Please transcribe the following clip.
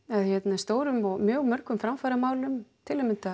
stórum og mjög mörgum framfaramálum til að mynda